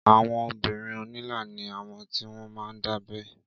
Àwọn obìrin onila ni awọn ti wọn máa ń dábẹ́